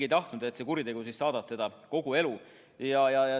Ei tahetud, et kuritegu saadaks inimest kogu elu.